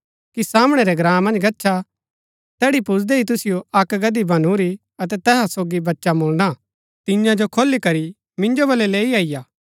सामणै रै ग्राँ मन्ज गच्छा तैड़ी पुजदै ही तुसिओ अक्क गदही बनुरी अतै तैहा सोगी बच्चा मुळना हा तियां जो खोली करी मिन्जो वलै लैई अईआ